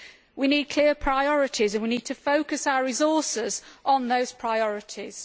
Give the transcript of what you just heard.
We need clear priorities, and we need to focus our resources on those priorities.